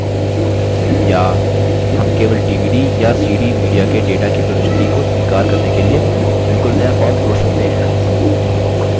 या हम केवल dvd या cd media के data की प्रविष्टि को स्वीकार करने के लिए बिलकुल नया form जोड़ सकते हैं